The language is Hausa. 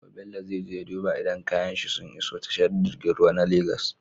Gobe bello zai je ya duba idan kayan shi sun iso tashar girgin ruwa na lagos